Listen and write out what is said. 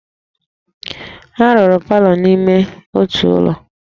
A rụrụ palọ n'ime ọtụtụ ụlọ